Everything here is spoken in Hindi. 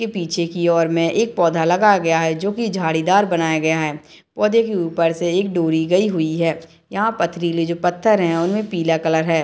इ पीछे की ओर में एक पौधा लगाया गया है जो की झाड़ीदार बनाया गया है पौधे के ऊपर से एक डोरी गयी हुई है यहाँ पथरीली पत्थर हैं उनमे पीला कलर है।